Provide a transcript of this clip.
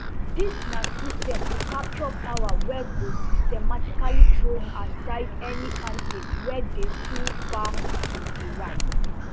dis na system to capture power wey go systematically throws aside any candidate wey dey too far to di right